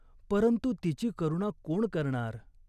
परंतु तिची करुणा कोण करणार?